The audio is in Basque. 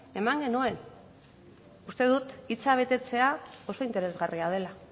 eman genuen uste dut hitza betetzea oso interesgarria dela